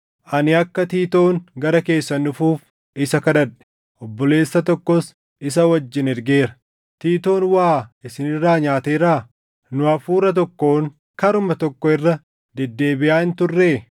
Ani akka Tiitoon gara keessan dhufuuf isa kadhadhe; obboleessa tokkos isa wajjin ergeera. Tiitoon waa isin irraa nyaateeraa? Nu hafuura tokkoon, karuma tokko irra deddeebiʼaa hin turree?